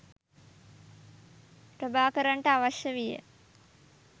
ප්‍රභාකරන්ට අවශ්‍ය වීය